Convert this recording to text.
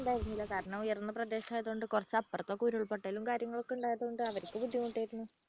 ഉണ്ടായിരുന്നില്ല കാരണം ഉയർന്ന പ്രദേശമായതുകൊണ്ട് കുറച്ച് അപ്പുറത്തൊക്കെ ഉരുൾപൊട്ടലും കാര്യങ്ങളൊക്കെ ഉണ്ടായതുകൊണ്ട്അവർക്ക് ബുദ്ധിമുട്ടായിരുന്നു.